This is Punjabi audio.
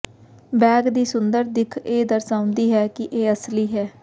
ਬੈਗ ਦੀ ਸੁੰਦਰ ਦਿੱਖ ਇਹ ਦਰਸਾਉਂਦੀ ਹੈ ਕਿ ਇਹ ਅਸਲੀ ਹੈ